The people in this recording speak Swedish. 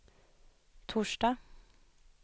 torsdag